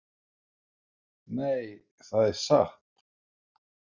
Nei, það er satt.